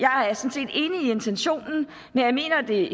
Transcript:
intentionen men jeg mener at det